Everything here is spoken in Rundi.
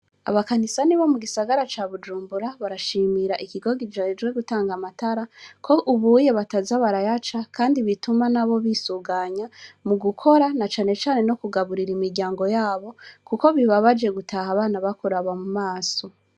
Abakanisani bo mugisagara ca bujumbura barashimira ikigo kijejwe gutanga amatara ko ubuye bataza barayaca kandi bituma nabo bisuganya mugukora nacanecane no kugaburira imiryango yabo kuko bibabaje gutaha abana bakuraba mumaso.